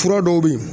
Fura dɔw bɛ yen